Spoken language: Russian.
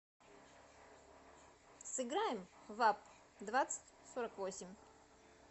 сыграем в апп двадцать сорок восемь